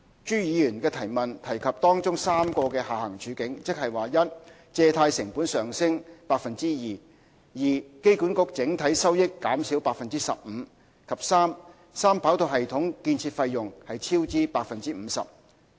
朱議員的質詢提及當中3個的下行處境，即1借貸成本上升 2%；2 機管局整體收益減少 15%； 及3三跑道系統建造費用超支 50%。